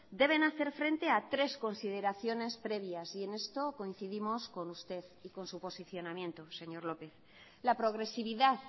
deben hacer frente a tres consideraciones previas y en esto coincidimos con usted y con su posicionamiento señor lópez la progresividad